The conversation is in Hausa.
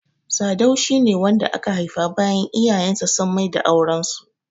Sadau shi ne wanda aka haifa bayan iyayen sa sun maida auren su.